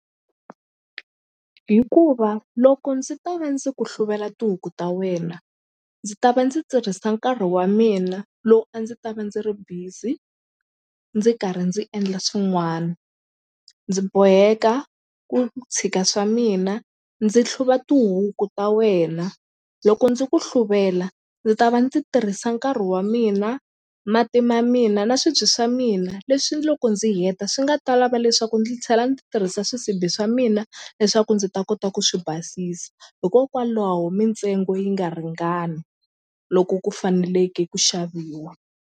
Hikuva loko ndzi ta va ndzi ku hluvela tihuku ta wena ndzi ta va ndzi tirhisa nkarhi wa mina lowu a ndzi ta va ndzi ri busy ndzi karhi ndzi endla swin'wana ndzi boheka ku tshika swa mina ndzi hluva tihuku ta wena loko ndzi ku hluvela ndzi ta va ndzi tirhisa nkarhi wa mina mati ma mina na swibye swa mina leswi loko ndzi heta swi nga ta lava leswaku ndzi tlhela ndzi tirhisa swisibi swa mina leswaku ndzi ta kota ku swi basisa hikokwalaho mintsengo yi nga ringani loko ku faneleke ku xaviwa.